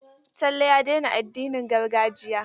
Talle ya daina addinin gargajiya.